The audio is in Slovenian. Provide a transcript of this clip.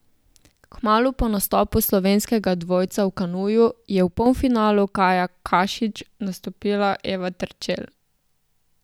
Kmalu po nastopu slovenskega dvojca v kanuju je v polfinalu kajakašic nastopila Eva Terčelj.